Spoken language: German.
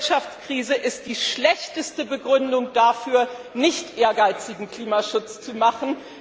Die Wirtschaftskrise ist die schlechteste Begründung dafür, keinen ehrgeizigen Klimaschutz zu machen.